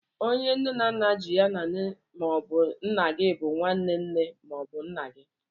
Onye nne na nna ji ya na nne ma ọbụ nna gị bụ nwaane nne ma ọ bụ nna gị.